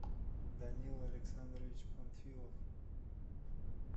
данил александрович панфилов